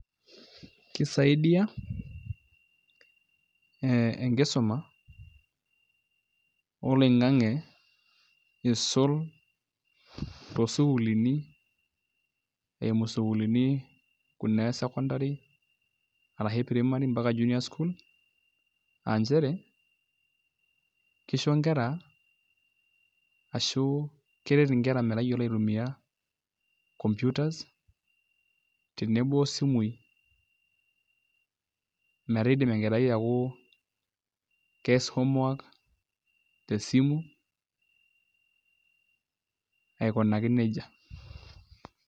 Kisaidia enkisuma oloing'ang'e iisul toosukuulini kuna esekondari arashu primary mpaka junior school aa nchere kisho nkera ashu keret nkera metayiolo aitumiaa computers tenebo osimuui metaa iidim enkerai aaku ees homework tesimu aikunaki neija.